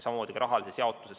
Samamoodi ka rahaline jaotus.